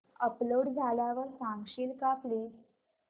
upload झाल्यावर सांगशील का प्लीज